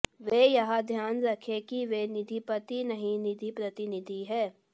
वे यह ध्यान रखें कि वे निधिपति नहीं निधि प्रतिनिधि हैं